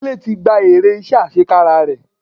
Dele ti gba èrè iṣẹ́ àṣekára rẹ̀.